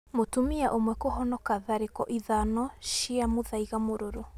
Mũtumia ũmwe kũhonoka tharĩko ithano ma mũthaiga mũrũrũ